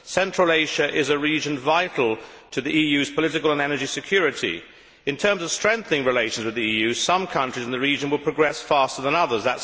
Central Asia is a region vital to the EU's political and energy security. In terms of strengthening relations with the EU, some countries in the region will progress faster than others.